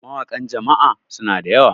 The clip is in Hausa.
mawakan Jama'a suna da yawa